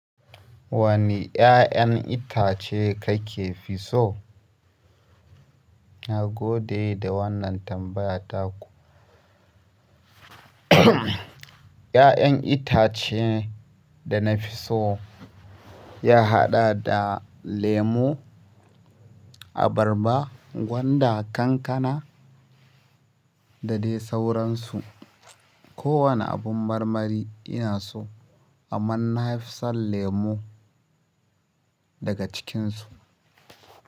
Wane ya'yan itace kake fi so? Na gode da wannan tambaya taku. 'Ya'yan itace dana fi so ya haɗa da lemo, abarba, gwanda, kankana da dai sauransu ko wane abin marmari ina so, amma na fi son lemu daga cikinsu.